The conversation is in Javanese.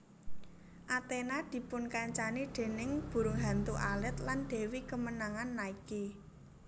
Athena dipunkancani déning burung hantu alit lan dewi kemenangan Nike